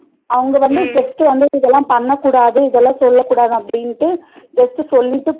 அவங்க வந்து just வந்து இதல பண்ணக்கூடாது இதல செய்யக்கூடாது அப்டிண்டு just சொல்லிட்டு